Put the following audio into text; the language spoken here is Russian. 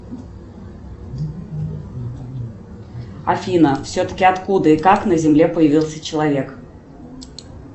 афина все таки откуда и как на земле появился человек